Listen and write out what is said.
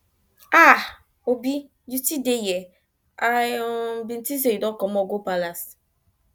aah obi you still dey here i um bin think you do comot go palace